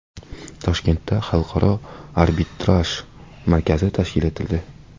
Toshkentda xalqaro arbitraj markazi tashkil etildi.